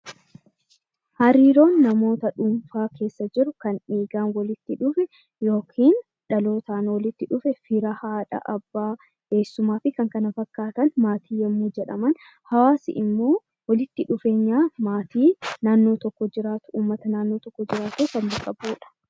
Hariiroon namoota dhuunfaa keessa jiru kan dhiigaan walitti dhufe (dhalootaan walitti dhufe) fira, haadha, abbaa, eessumaa fi kan kana fakkaatan maatii yommuu jedhaman, hawaasi immoo walitti dhufeenya maatii naannoo tokko jiraatu, ummata naannoo tokko jiraatu kan bakka bu'uu dha.